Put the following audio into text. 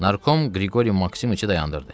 Narkom Qriqori Maksimoviçi dayandırdı.